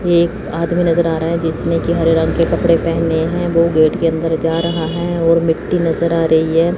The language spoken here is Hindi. एक आदमी नजर आ रहा है जिसने की हरे रंग के कपड़े पहने हैं वो गेट के अंदर जा रहा है और मिट्टी नजर आ रही है।